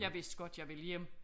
Jeg vidste godt jeg ville hjem